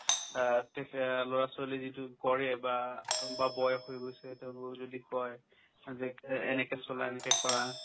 অ, তেতিয়া ল'ৰা-ছোৱালীয়ে যিটো কৰে বা বা বয়স হৈ গৈছে তেওঁলোকক যদি কই যে এনেকে চলা এনেকে কৰা